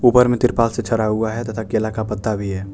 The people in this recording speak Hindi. ऊपर में तिरपाल से छड़ा हुआ है तथा केला का पत्ता भी हैं।